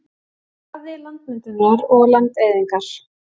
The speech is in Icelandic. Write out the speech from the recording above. hraði landmyndunar og landeyðingar